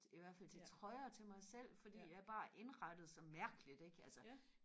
i hvert fald til trøjer til mig selv fordi jeg er bare så mærkeligt ikke altså